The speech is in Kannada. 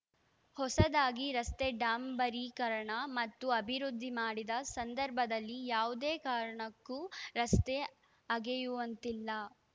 ಹೊಸದಾಗಿ ರಸ್ತೆ ಡಾಂಬರಿಕರಣ ಮತ್ತು ಅಭಿವೃದ್ಧಿ ಮಾಡಿದ ಸಂದರ್ಭದಲ್ಲಿ ಯಾವುದೇ ಕಾರಣಕ್ಕೂ ರಸ್ತೆ ಅಗೆಯುವಂತಿಲ್ಲ